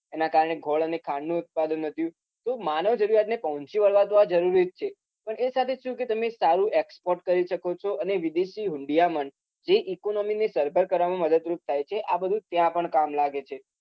એના કારણે ગોળ અને ખાંડનું ઉત્પાદન વધ્યું તો માનવ જરુરીયાતને પહોંચી વળવા તો આ જરૂરી જ છે પણ એ સાથે શું કે તમે સારું export કરી શકો છો અને વિદેશી હૂંડિયામણ જે economy ને સરભર કરવામાં મદદરૂપ થાય છે આ બધું ત્યાં પણ કામ લાગે છે